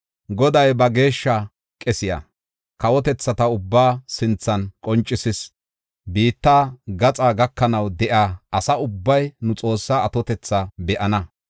Goday ba geeshsha qesiya kawotethata ubbaa sinthan qoncisis. Biitta gaxaa gakanaw de7iya asa ubbay nu Xoossaa atotetha be7ana.